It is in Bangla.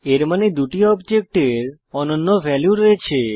এর মানে দুটি অবজেক্টের অনন্য ভ্যালু রয়েছে